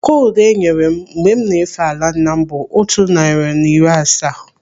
Kodu enyere m mgbe m na-efe ala nna m bụ otu narị na iri asaa.